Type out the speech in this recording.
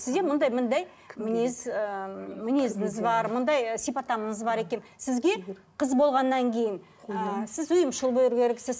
сізде мындай мындай мінез ыыы мінезіңіз бар мындай ы сипаттамаңыз бар екен сізге қыз болғаннан кейін ы сіз ұйымшыл болу керексіз